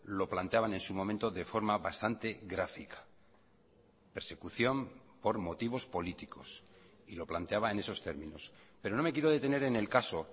lo planteaban en su momento de forma bastante gráfica persecución por motivos políticos y lo planteaba en esos términos pero no me quiero detener en el caso